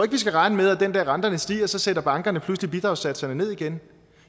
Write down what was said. vi skal regne med at den dag renterne stiger sætter bankerne pludselig bidragssatserne ned igen